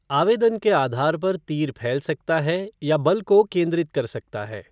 आवेदन के आधार पर तीर फैल सकता है या बल को केंद्रित कर सकता है।